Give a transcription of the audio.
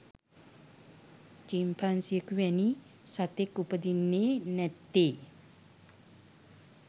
චිම්පන්සියෙකු වැනි සතෙක් උපදින්නේ නැත්තේ.